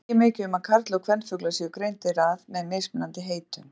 Ekki er mikið um að karl- og kvenfuglar séu greindir að með mismunandi heitum.